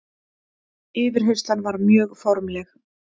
Yfirheyrslan var mjög formleg.